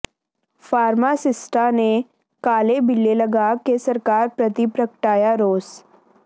ਫਾਰਮਾਸਿਸਟਾਂ ਨੇ ਕਾਲੇ ਬਿੱਲੇ ਲਗਾ ਕੇ ਸਰਕਾਰ ਪ੍ਰਤੀ ਪ੍ਰਗਟਾਇਆ ਰੋਸ